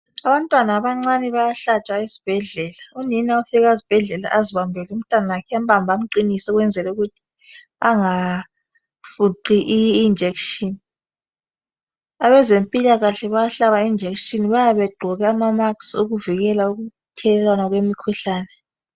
Abantwana abancane bayahlatshwa ezibhedlela, unina ufika esibhedlela azibambele umntanakhe ambambe amqinise ukwenzela ukuthi angafuqi injection. Abezempilakahle bayahlaba injection, bayabe begqoke amamasiki ukuzivikela ukuthelelwana kwemikhuhlane.